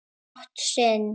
mátt sinn.